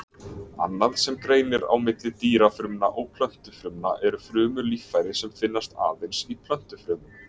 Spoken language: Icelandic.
Annað sem greinir á milli dýrafrumna og plöntufrumna eru frumulíffæri sem finnast aðeins í plöntufrumum.